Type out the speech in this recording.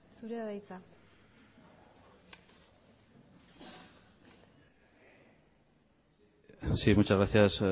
zurea da hitza sí muchas gracias